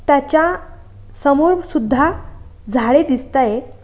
त्याच्या समोर सुद्धा झाडे दिसताय.